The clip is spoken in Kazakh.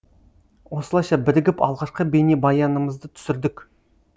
осылайша бірігіп алғашқы бейнебаянымызды түсірдік